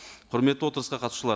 құрметті отырысқа қатысушылар